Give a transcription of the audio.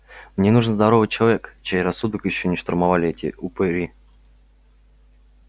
мне нужен здоровый человек чей рассудок ещё не штурмовали эти упыри